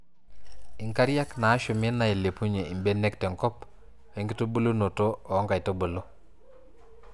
inkariak naashumi, nailepunyie ibenek tenkop o nkitubulunoto oo nkaitubulu.